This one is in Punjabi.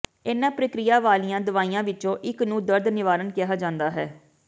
ਇਨ੍ਹਾਂ ਪ੍ਰਕਿਰਿਆ ਵਾਲੀਆਂ ਦਵਾਈਆਂ ਵਿੱਚੋਂ ਇੱਕ ਨੂੰ ਦਰਦ ਨਿਵਾਰਨ ਕਿਹਾ ਜਾਂਦਾ ਹੈ